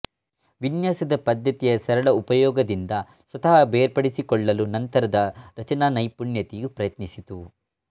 ವಿನ್ಯಾಸದ ಪದ್ಧತಿಯ ಸರಳ ಉಪಯೋಗದಿಂದ ಸ್ವತಃ ಬೇರ್ಪಡಿಸಿಕೊಳ್ಳಲುನಂತರದ ರಚನಾ ನೈಪುಣ್ಯತೆಯು ಪ್ರಯತ್ನಿಸಿತು